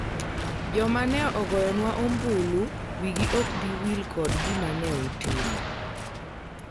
joma ne ogoyonwa ombulu wigi ok bi wil kod gima ne utimo